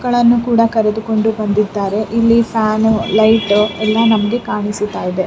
ಗಳನ್ನೂ ಕೂಡ ಕರೆದು ಕೊಂಡು ಬಂದಿದ್ದಾರೆ ಇಲ್ಲಿ ಫ್ಯಾನ್ ಲೈಟ್ ಎಲ್ಲ ನಮಗೆ ಕಾಣಿಸುತಾ ಇದೆ.